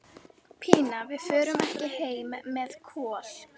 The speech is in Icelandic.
Pína, við förum ekki heim með Kol.